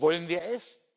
Wollen wir es?